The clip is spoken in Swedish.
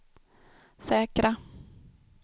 säkra